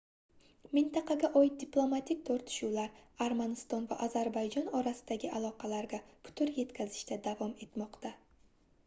mintaqaga oid diplomatik tortishuvlar armaniston va ozarbayjon orasidagi aloqalarga putur yetkazishda davom etmoqda